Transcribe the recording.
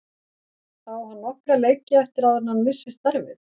Á hann nokkra leiki eftir áður en hann missir starfið?